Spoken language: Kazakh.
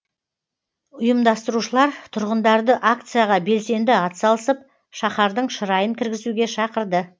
ұйымдастырушылар тұрғындарды акцияға белсенді атсалысып шаһардың шырайын кіргізуге шақырды